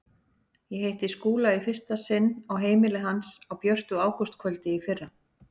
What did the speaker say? Ég hitti Skúla í fyrsta sinn á heimili hans á björtu ágústkvöldi í fyrra.